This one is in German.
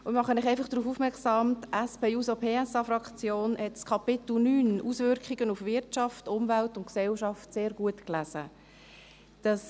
Ich mache Sie einfach darauf aufmerksam, dass die SP-JUSO-PSA-Fraktion das Kapitel 9, «Auswirkungen auf Wirtschaft, Umwelt und Gesellschaft», sehr gut gelesen hat.